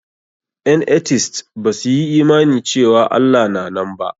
Ƴan etist ba su yi imani cewa Allah na nan ba.